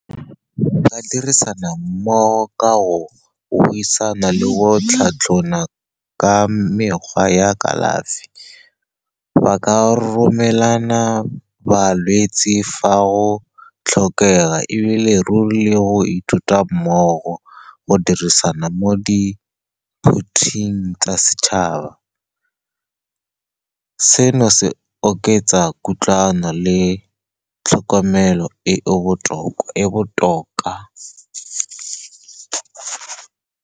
Ba dirisana mmogo ka go buisana le go tlhatlhona ka mekgwa ya kalafi. Ba ka romelana balwetsi fa go tlhokega, e bile ruri le go ithuta mmogo, go dirisana mo diphuthing tsa setšhaba. Seno se oketsa kutlwano le tlhokomelo e e botoka.